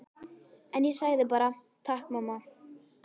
En ég sagði bara: Takk mamma.